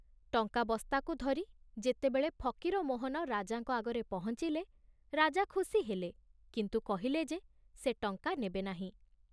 ଟଙ୍କା ବସ୍ତାକୁ ଧରି ଯେତେବେଳେ ଫକୀରମୋହନ ରାଜାଙ୍କ ଆଗରେ ପହଞ୍ଚିଲେ, ରାଜା ଖୁସି ହେଲେ, କିନ୍ତୁ କହିଲେ ଯେ ସେ ଟଙ୍କା ନେବେନାହିଁ।